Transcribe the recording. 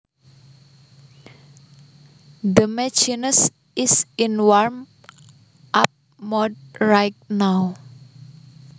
The machine is in warm up mode right now